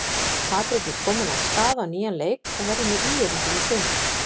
Patrik er kominn af stað á nýjan leik og verður með ÍR-ingum í sumar.